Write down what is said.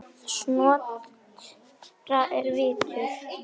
Snotra er vitur